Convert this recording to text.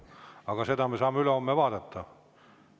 Aga seda me saame ülehomme vaadata.